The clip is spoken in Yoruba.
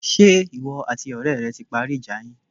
Ṣé ìwọ àti ọ̀rẹ́ rẹ ti parí ìjà yín?